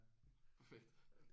Perfekt